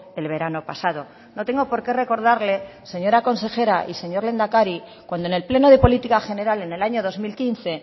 el verano pasado no tengo porqué recordarle señora consejera y señor lehendakari cuando en el pleno de política general en el año dos mil quince